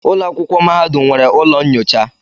Ụlọ akwụkwọ mahadum nwere ụlọ nyocha.